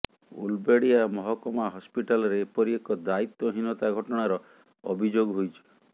ଉଲବେଡିଆ ମହକମା ହସପିଟାଲରେ ଏପରି ଏକ ଦାୟିତ୍ୱହୀନତା ଘଟଣାର ଅଭିଯୋଗ ହୋଇଛି